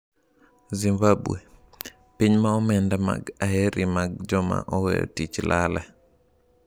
Zimbabwe: Piny ma omenda mag aerimag joma oweyo tich lale